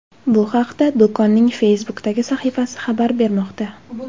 Bu haqda do‘konning Facebook’dagi sahifasi xabar bermoqda .